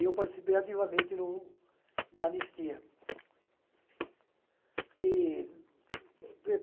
E eu participei ativamente no na anistia.